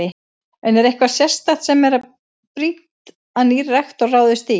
En er eitthvað sérstakt sem að er brýnt að nýr rektor ráðist í?